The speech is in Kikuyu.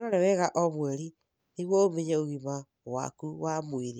Wĩrore wega o mweri nĩguo ũmenye ũgima waku wa mwĩrĩ.